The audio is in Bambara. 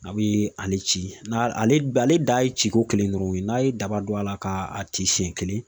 A be ale ci n'a ale ale dan ye ci ko kelen dɔrɔn ye. N'a ye daba don a la ka ci siɲɛ kelen.